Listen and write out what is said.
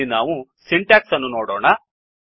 ಇಲ್ಲಿ ನಾವು ಸಿಂಟ್ಯಾಕ್ಸ್ ಅನ್ನು ನೋಡೋಣ